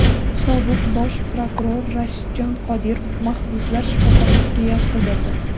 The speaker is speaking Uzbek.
Sobiq bosh prokuror Rashidjon Qodirov mahbuslar shifoxonasiga yotqizildi.